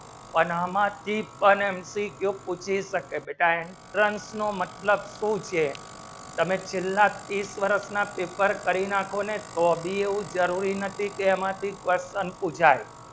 પણ હમતી તને કુરુચિ શક્ય બેટાય sons નો મતલબ શું છે તને ચિલ્લા ત્રીસ બરસ માં paper કરી નાખો ને તો ભી એ જરૂરી નથી ત્યાંથી custom સુજાય